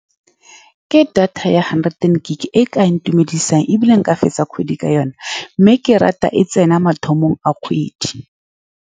Ke data ya hundred gig-e e e ka ntumedisang, ebile nka fetsa kgwedi ka yone, mme ke rata e tsena mathomo a kgwedi.